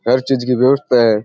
हर चीज की व्यवस्था है।